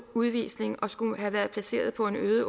udvisning og skulle have været placeret på en øde